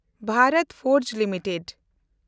ᱵᱷᱮᱱᱰᱚᱛ forge limited